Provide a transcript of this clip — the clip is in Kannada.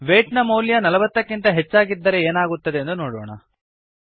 ವೈಟ್ ನ ಮೌಲ್ಯ ನಲವತ್ತಕ್ಕಿಂತ ಹೆಚ್ಚಾಗಿದ್ದರೆ ಏನಾಗುತ್ತದೆಂದು ನೋಡೋಣ